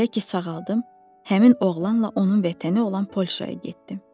Elə ki sağaldım, həmin oğlanla onun vətəni olan Polşaya getdim.